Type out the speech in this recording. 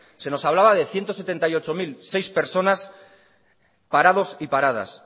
se nos hablaba de ciento setenta y ocho mil seis personas parados y paradas